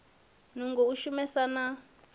nungo u shumesa na u